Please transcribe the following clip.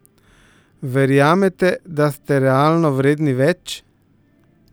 Verjamete, da ste realno vredni več?